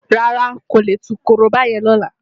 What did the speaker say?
Rárá, n kò lè tú korobá yẹn ní ọ̀la.